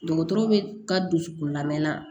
Dɔgɔtɔrɔ bɛ ka dusukolo lamɛn